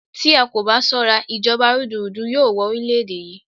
Tí a kò bá ṣọ́ra, ìjọba rúdurùdu yóò wọ orílẹ̀-èdè yí.